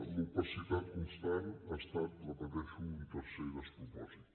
l’opacitat constant ha estat ho repeteixo un tercer despropòsit